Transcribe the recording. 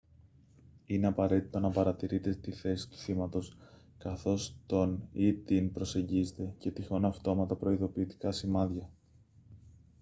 είναι απαραίτητο να παρατηρείτε τη θέση του θύματος καθώς τον ή την προσεγγίζετε και τυχόν αυτόματα προειδοποιητικά σημάδια